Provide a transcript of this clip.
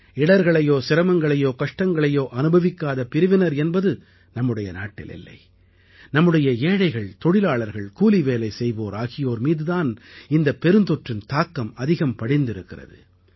இடர்களையோ சிரமங்களையோ கஷ்டங்களையோ அனுபவிக்காத பிரிவினர் என்பது நம்முடைய நாட்டில் இல்லை நம்முடைய ஏழைகள் தொழிலாளர்கள் கூலிவேலை செய்வோர் ஆகியோர் மீது தான் இந்தப் பெருந்தொற்றின் தாக்கம் அதிகம் படிந்திருக்கிறது